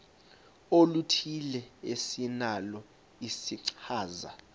oluthile esinalo isichazwa